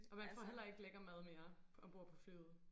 Og man får heller ikke lækker mad mere ombord på flyet